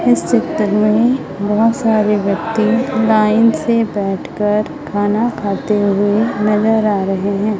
इस चित्र में बहुत सारे व्यक्ति लाइन से बैठ कर खाना खाते हुए नजर आ रहे हैं।